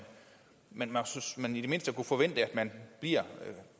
men at man i det mindste kunne forvente at man bliver